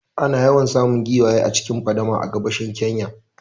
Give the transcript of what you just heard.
Ana yawan samun giwaye a cikin fadama a gabashin Kenya